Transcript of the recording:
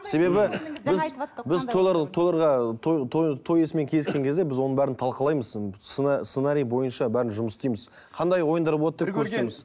себебі біз біз тойлар тойларға той той той иесімен кездескен кезде біз оның бәрін талқылаймыз сценарий бойынша бәрін жұмыс істейміз қандай ойындар болады көрсетеміз